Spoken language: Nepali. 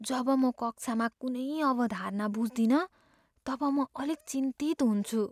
जब म कक्षामा कुनै अवधारणा बुझ्दिनँ तब म अलिक चिन्तित हुन्छु।